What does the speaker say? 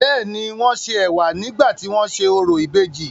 bẹ́ẹ̀ni, wọ́n ṣe ẹ̀wà nígbà tí wọ́n ń ṣe orò ìbejì.